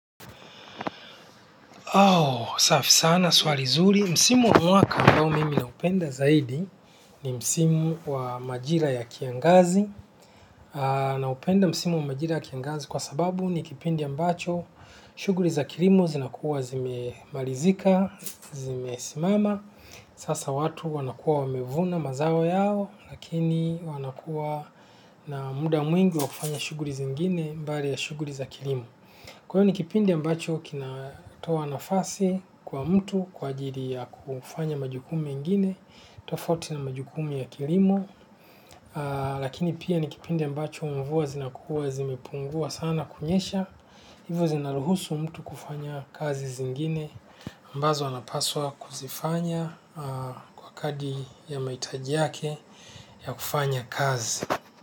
Au, safi sana, swali zuri. Msimu wa mwaka ambao mimi naupenda zaidi ni msimu wa majira ya kiangazi. Naupenda msimu wa majira ya kiangazi kwa sababu ni kipindi ambacho. Shughuli za kilimo zinakuwa zimemalizika, zimesimama. Sasa watu wanakuwa wamevuna mazao yao, lakini wanakuwa na muda mwingi wa kufanya shughuli zingine mbali ya shughuli za kilimo. Kwa hivyo ni kipindi ambacho kinatoa nafasi kwa mtu kwa ajili ya kufanya majukumu mengine, tofauti na majukumu ya kilimo, lakini pia ni kipindi ambacho mvua zinakuwa zimepungua sana kunyesha, hivyo zinaruhusu mtu kufanya kazi zingine ambazo anapaswa kuzifanya kwa kadi ya mahitaji yake ya kufanya kazi.